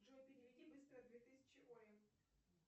джой переведи быстро две тысячи оле